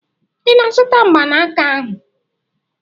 Ị na-azụta mgbanaka ahụ?